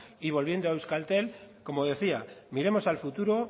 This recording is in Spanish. y volviendo a euskaltel como decía miremos al futuro